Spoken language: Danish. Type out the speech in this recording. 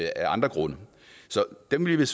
af andre grunde så dem vil